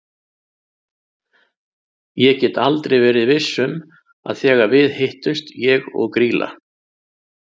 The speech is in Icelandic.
Ég get aldrei verið viss um að þegar við hittumst ég og Grýla.